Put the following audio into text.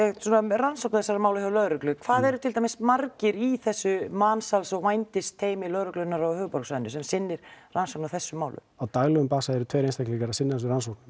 rannsókn þessa mála hjá lögreglu hversu margir í þessu mansals og vændisteymi lögreglunnar á höfuðborgarsvæðinu sem sinnir rannsóknum á þessum málum á daglegum eru tveir einstaklingar að sinna þessari rannsókn